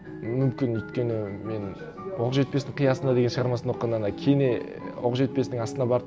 мүмкін өйткені мен оқжетпестің қиясында деген шығармасын оқығанда ана кене оқжетпесің астына барып